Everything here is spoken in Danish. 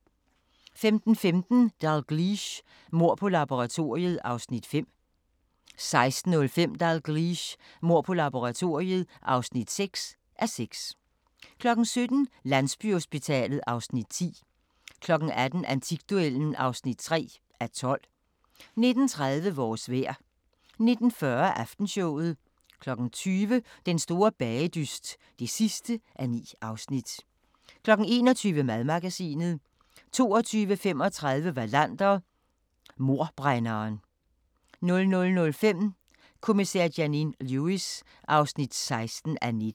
15:15: Dalgliesh: Mord på laboratoriet (5:6) 16:05: Dalgliesh: Mord på laboratoriet (6:6) 17:00: Landsbyhospitalet (Afs. 10) 18:00: Antikduellen (3:12) 19:30: Vores vejr 19:40: Aftenshowet 20:00: Den store bagedyst (9:9) 21:00: Madmagasinet 22:35: Wallander: Mordbrænderen 00:05: Kommissær Janine Lewis (16:19)